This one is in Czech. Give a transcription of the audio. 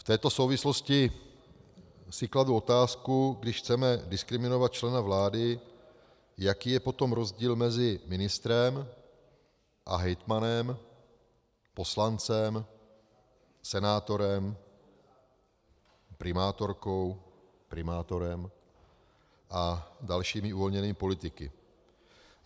V této souvislosti si kladu otázku, když chceme diskriminovat člena vlády, jaký je potom rozdíl mezi ministrem a hejtmanem, poslancem, senátorem, primátorkou, primátorem a dalšími uvolněnými politiky.